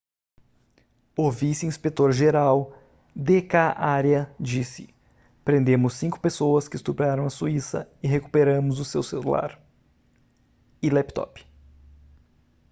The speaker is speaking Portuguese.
o vice-inspetor geral d k arya disse prendemos cinco pessoas que estupraram a suíça e recuperamos o seu celular e laptop